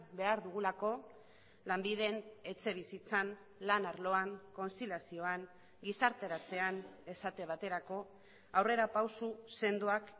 behar dugulako lanbiden etxebizitzan lan arloan kontziliazioan gizarteratzean esate baterako aurrerapauso sendoak